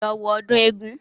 Lọ wo ọdún eégún